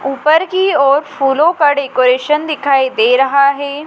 ऊपर की ओर फूलो का डेकोरेशन दिखाई दे रहा हैं।